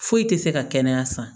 Foyi tɛ se ka kɛnɛya san